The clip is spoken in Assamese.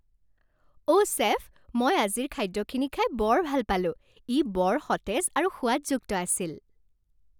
অঁ চেফ, মই আজিৰ খাদ্যখিনি খাই বৰ ভাল পালোঁ। ই বৰ সতেজ আৰু সোৱাদযুক্ত আছিল।